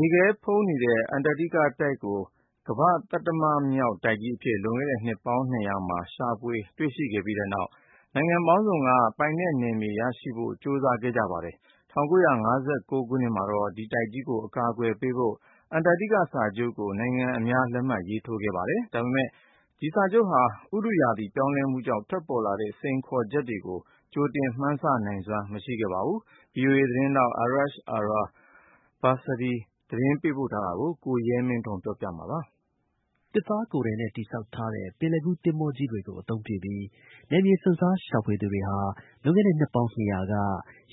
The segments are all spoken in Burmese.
ေခဲဖုံးနေတဲ့ အန္တာတိကတိုက်ကို ကမ္ဘာ့ သတ္တမမြောက်တိုက်ကြီးအဖြစ် လွန်ခဲ့တဲ့ နှစ်ပေါင်း ၂၀၀ က ရှာဖွေတွေ့ရှိခဲ့ကြပြီးတဲ့နောက် နိုင်ငံပေါင်းစုံက ပိုင်နက်နယ်မြေရရှိဖို့ ကြိုးစားခဲ့ကြပါတယ်။ ၁၉၅၉ ခုနှစ်မှာတော့ ဒီတိုက်ကြီးကို အကာအကွယ်ပေးဖို့ Antarctica Treaty ကို နိုင်ငံအများ လက်မှတ်ရေး ထိုးခဲ့ကြပါတယ်။ ဒါပေမဲ့ ဒီစာချုပ်ဟာ ဥတုရာသီ ပြောင်းလဲမှုကြောင့် ထွက်ပေါ်လာတဲ့ စိန်ခေါ်မှုတွေကို ကြိုတင် မှန်းဆ နိုင်စွမ်း မရှိခဲ့ပါဘူး။ VOA သတင်းထောက် Arash Arabasadi ရဲ့ သတင်းပေးပို့ချက်ကို ကိုရဲမင်းထွန်းက ပြောပြပါမယ်။ သစ်သားကိုယ်ထည်နဲ့ တည်ဆောက်ထားတဲ့ ပင်လယ်ကူး သင်္ဘောကြီး တွေကို အသုံးပြုပြီး နယ်မြေ စွန့်စား ရှာဖွေသူတွေဟာ လွန်ခဲ့တဲ့ နှစ်ပေါင်း ၂၀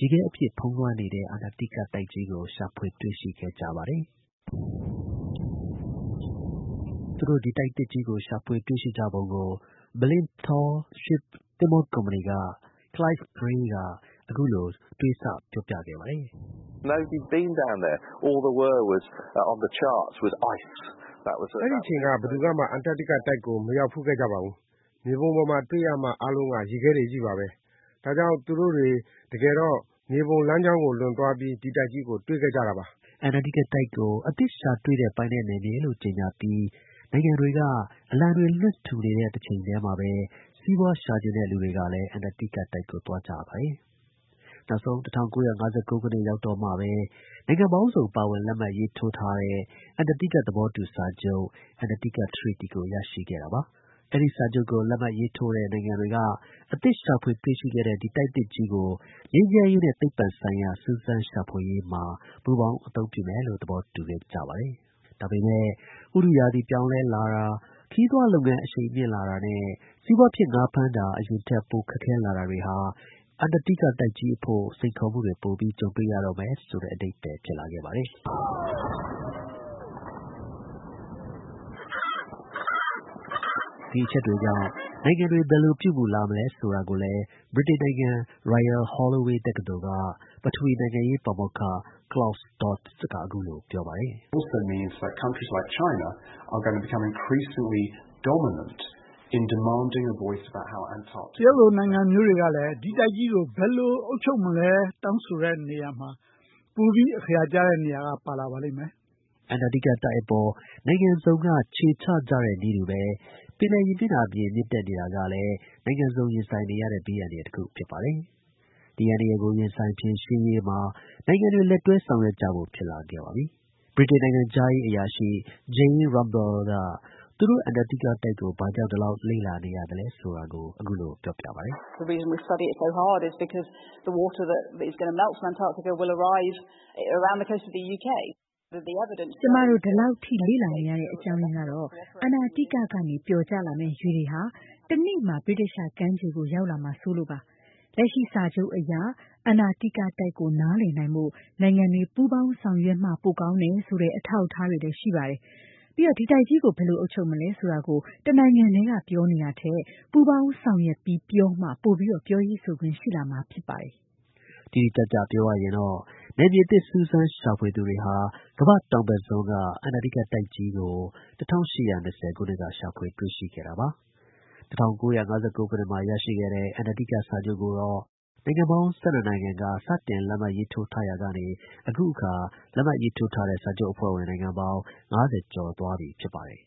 ၀ က ရေခဲအပြည့် ဖုံးလွှမ်း နေတဲ့ အန္တာတိကတိုက်ကြီးကို ရှာဖွေတွေ့ရှိခဲ့ကြပါတယ်။ သူတို့ ဒီ တိုက်သစ်ကြီးကို ရှာဖွေတွေ့ရှိပုံကို Blyth Tall Ship သဘောၤကုမ္ပဏီက Clive Gray က အခုလို ပြောပြခဲ့ပါတယ်။ “အဲဒီ အချိန်က ဘယ်သူကမှအန္တာတိကတိုက်ကို မရောက်ဖူးခဲ့ကြဘူး။ မြေပုံပေါ်မှာ တွေ့ရမှာ အားလုံးက ရေခဲတွေချည်းပဲလေ။ ဒါကြောင့် သူတို့တွေ တကယ်တော့ မြေပုံလမ်းကြောင်းကို လွန်သွားပြီး ဒီ တိုက်ကြီးကို တွေ့ခဲ့ကြတာ။” အန္တာတိကတိုက်ကို အသစ်ရှာတွေ့တဲ့ ပိုင်နယ်နယ်မြေလို့ ကြေညာပြီး နိုင်ငံတွေက အလံတွေ လွှင့်ထူနေတဲ့အချိန်မှာပဲ စီးပွားရှာချင်တဲ့ လူတွေကလည်း အန္တာတိကကို သွားကြပါတယ်။ နောက်ဆုံး ၁၉၅၉ ခုနှစ် ရောက်တော့မှပဲ နိုင်ငံပေါင်းစုံ ပါဝင်လက်မှတ်ရေးထိုးတဲ့ အန္တာတိက သဘောတူ စာချုပ် (Antarctica Treaty) ကို ရရှိခဲ့တာပါ။ အဲဒီ စာချုပ်ကို လက်မှတ်ရေးထိုးတဲ့ နိုင်ငံတွေက အသစ်ရှာဖွေတွေ့ရှိတဲ့ ဒီတိုက် သစ်ကြီးကို ငြိမ်းချမ်းရေးနဲ့ သိပ္ပံဆိုင်ရာ စူးစမ်းရှာဖွေရေးမှာ ပူးပေါင်း အသုံးပြုမယ်လို့ သဘောတူခဲ့ကြပါတယ်။ ဒါပေမယ့် ဥတုရာသီ ပြောင်းလဲလာတာ၊ ခရီးသွားလုပ်ငန်း အရှိန်မြှင့်လာတာနဲ့ စီးပွားဖြစ် ငါး ဖမ်းတာ အရင်ထက် ပိုခက်ခဲလာတာတွေဟာ အန္တာတိက တိုက်ကြီးအဖို့ စိန်ခေါ်မှုတွေ ပိုပြီး ကြုံတွေ့ရတော့မယ်ဆိုတဲ့ အဓိပ္ပါယ်ဖြစ်ပါတယ်။ ဒီ အချက်တွေကြောင့် နိုင်ငံတွေ ဘယ်လို ပြုမူလာ မလဲဆိုတာကိုလည်း ဗြိတိန်နိုင်ငံ Royal Holloway တက္ကသိုလ်က ပထဝီ နိုင်ငံရေး ပါမောက္ခ Claus Dodds က အခုလို ပြောပါတယ်။ “တရုတ်လို နိုင်ငံမျိုးတွေကလည်း ဒီ တိုက်ကြီးကို ဘယ်လို အုပ်ချုပ်မလဲဆိုပြီး တောင်းဆိုရာမှာ ပိုပြီး အခရာ ကျတဲ့နေရာက ပါလာလိမ့်မယ်။” အန္တာတိကအပေါ် နိုင်ငံစုံ ခြေချကြတဲ့နည်းတူပဲ ပင်လယ် ရေမျက်နှာပြင် မြင့်တက်နေတာကလည်း နိုင်ငံစုံ ရင်ဆိုင်နေရတဲ့ ဘေးအန္တရာယ် ဖြစ်ပါတယ်။ ဒီ အန္တရာယ်ကို ရင်ဆိုင်ဖြေရှင်းရေးမှာ နိုင်ငံတွေ လက်တွဲ ဆောင်ရွက်ကြဖို့ ဖြစ်လာပါတယ်။ ဗြိတိန် နိုင်ငံခြားရေး အရာရှိ Jane Rumble က သူတို့ အန္တာတိကကို ဘာကြောင့် ဒီလောက် လေ့လာနေရသလဲဆိုတာကို ပြောပြပါတယ်။ “ကျွန်မတို့ ဒီလောက် လေ့လာနေရတဲ့ အကြောင်းရင်းကတော့ အန္တာတိက ကနေ ပျော်ကျလာမယ့် ရေတွေက တစ်နေ့မှာ ဗြိတိသျှ ကမ်းခြေကို ရောက်လာမှာ စိုးလို့ပါပဲ။ လက်ရှိစာချုပ်အရ အန္တာတိကတိုက်ကို နားလည်နိုင်ဖို့ နိုင်ငံတွေ ပူးပေါင်းဆောင်ရွက်မှ ပိုကောင်း တယ်ဆိုတဲ့ အထောက်အထား တွေ ရှိပါတယ်။ ပြီးတော့ ဒီတိုက်ကြီးကို ဘယ်လို အုပ်ချုပ်မလဲဆိုတာကို တစ်နိုင်ငံတည်းက ပြောနေတာထက် ပူးပေါင်း ဆောင်ရွက်ပြီး ပြောမှ ပိုပြီး ပြောရေးဆိုခွင့်ရှိလာမှာ ဖြစ်ပါတယ်။” တိတိကျကျပြောရရင်တော့ နယ်မြေသစ် စူးစမ်းရှာဖွေသူ တွေဟာ ကမ္ဘာ့တောင်ဘက်စွန်းက အန္တာတိကတိုက်ကြီးကို ၁၈၂၀ ခုနှစ်က ရှာဖွေ တွေ့ရှိခဲ့တာပါ။ ၁၉၅၉ ခုနှစ်မှာ ရရှိခဲ့တဲ့ အန္တာတိကစာချုပ်ကိုတော့ နိုင်ငံပေါင်း ၁၂ နိုင်ငံ စတင်လက်မှတ် ရေးထိုးရာကနေ အခုအခါ လက်မှတ် ရေးထိုးထားတဲ့ စာချုပ်အဖွဲ့ဝင် နိုင်ငံပေါင်း ၅၀ ကျော်သွားပြီ ဖြစ်ပါတယ်